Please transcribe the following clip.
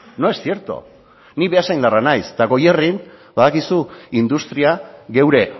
no es cierto ni beasaindarra naiz eta goierrin badakizu industria geure